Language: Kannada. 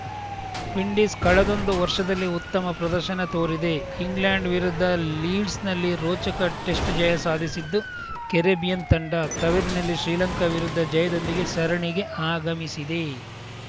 ವಿಂಡೀಸ್‌ ಕಳೆದೊಂದು ವರ್ಷದಲ್ಲಿ ಉತ್ತಮ ಪ್ರದರ್ಶನ ತೋರಿದೆ ಇಂಗ್ಲೆಂಡ್‌ ವಿರುದ್ಧ ಲೀಡ್ಸ್‌ನಲ್ಲಿ ರೋಚಕ ಟೆಸ್ಟ್‌ ಜಯ ಸಾಧಿಸಿದ್ದು ಕೆರಿಬಿಯನ್‌ ತಂಡ ತವರಿನಲ್ಲಿ ಶ್ರೀಲಂಕಾ ವಿರುದ್ಧ ಜಯದೊಂದಿಗೆ ಸರಣಿಗೆ ಆಗಮಿಸಿದೆ